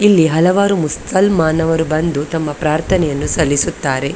ಇಲ್ಲಿ ಹಲವಾರು ಮುಸಲ್ಮಾನವರು ಬಂದು ತಮ್ಮ ಪ್ರಾರ್ಥನೆಯನ್ನು ಸಲ್ಲಿಸುತ್ತಾರೆ .